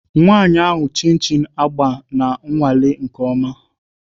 Nwanyị ahụ Chin agba na-anwale nke ọma